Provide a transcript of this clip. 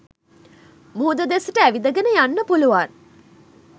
මුහුද දෙසට ඇවිදගෙන යන්න පුළුවන්.